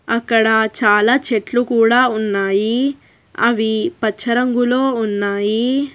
అక్కడ చాలా చెట్లు కూడా ఉన్నాయి అవి పచ్చ రంగులో ఉన్నాయి.